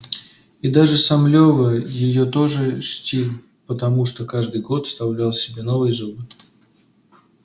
и даже сам лева её тоже чтил потому что каждый год вставлял себе новые зубы